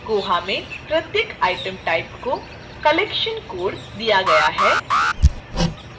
koha में प्रत्येक item type को collection code दिया गया है